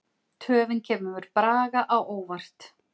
Töfin kemur Braga á óvart.